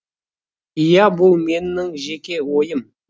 ия бұл менің жеке ойым